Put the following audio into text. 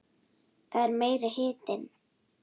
Það er meiri hitinn!